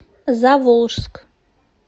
заволжск